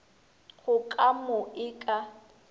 go ka mo e ka